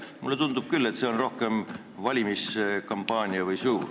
Mulle tundub küll, et see on rohkem valimiskampaania või -show.